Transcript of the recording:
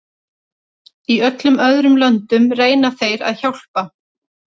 Í öllum öðrum löndum reyna þeir að hjálpa.